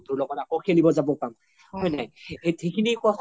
বন্ধুৰ লগ্ত আকৌ খেলিব যাব পাম হয় নাই